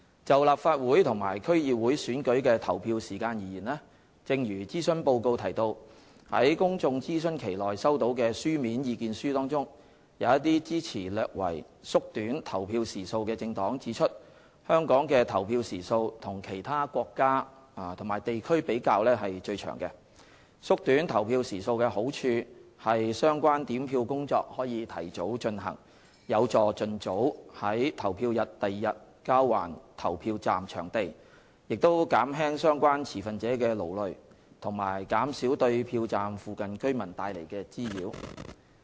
就立法會和區議會選舉的投票時間而言，正如諮詢報告提到，在公眾諮詢期內收到的書面意見書中，一些支持略為縮短投票時數的政黨指出香港的投票時數與其他國家及地區比較是最長的，縮短投票時數的好處是相關點票工作可提早進行，有助盡早於投票日翌日交還投票站場地，亦減輕相關持份者的勞累及減少對票站附近居民帶來的滋擾。